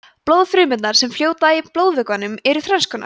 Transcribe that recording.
blóðfrumurnar sem fljóta í blóðvökvanum eru þrennskonar